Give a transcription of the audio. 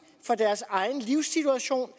for deres egen livssituation